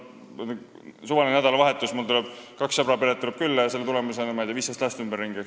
Suvalisel nädalavahetusel tulid mulle kahe sõbra pered külla ja selle tulemusena oli juba 15 last ümberringi.